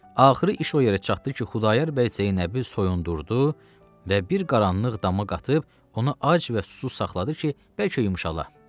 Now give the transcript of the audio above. Axırı iş o yerə çatdı ki, Xudayar bəy Zeynəbi soyundurdu və bir qaranlıq dama qatıb onu ac və susuz saxladı ki, bəlkə yumşala.